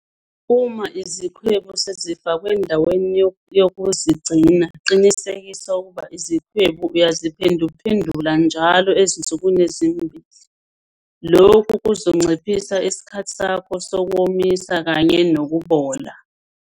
Uma izikhwebu sezifakwe endaweni yokuzigcina, qinisekisa ukuba izikhwebu uyaziphenduphendula njalo ezinsukwini ezimbili. Lokhu kuzonciphisa isikhathi sakho sokuwomisa kanye nokubola.